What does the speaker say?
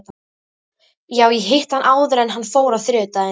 Já, ég hitti hann áður en hann fór á þriðjudaginn.